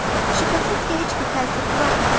Şübhəsiz ki, heç bir təsir buraxmadı.